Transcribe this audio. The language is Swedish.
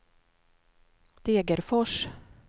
Degerfors